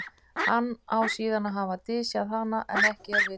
hann á síðan að hafa dysjað hana en ekki er vitað hvar